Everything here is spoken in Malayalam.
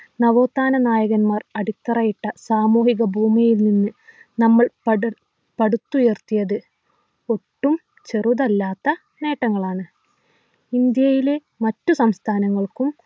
നവോത്ഥാന നായകന്മാർ അടിത്തറയിട്ട സാമൂഹിക ഭൂമിയിൽ നിന്ന് നമ്മൾ പടു പടുത്തുയർത്തിയത് ഒട്ടും ചെറുതല്ലാത്ത നേട്ടങ്ങളാണ് ഇന്ത്യയിലെ മറ്റു സംസ്ഥാനങ്ങൾക്കും